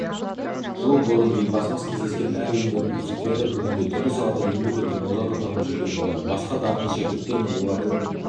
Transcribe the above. жыл бұрын елбасымен кездескен әр өңірдің үздіктері бүгінде түрлі салада еңбек етіп озат атанып жүрген болар басқа дарынды шәкірттер мен олардың